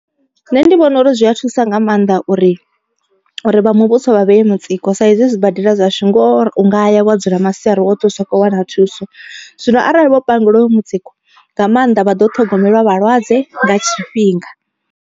Nṋe ndi vhona uri zwi a thusa nga maanḓa uri uri vha muvhuso vha vhee mutsiko sa izwi zwibadela zwashu ngoho u ngaya wa dzula masiari oṱhe usa kho wana thuso. Zwino arali vho pangeliwa hoyo mutsiko nga maanḓa vha ḓo ṱhogomelwa vhalwadze nga tshifhinga.